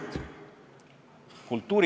Aitäh!